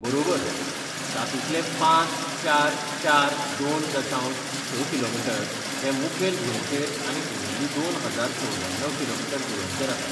बरोबर, तातूंतले पांच चार चार दोन दशांश स किलोमीटर हे मुखेल भुंयेचेर आनी उरिल्ली दोन हजार चौवद्याणव किलोमीटर जुंव्यांचेर आसा.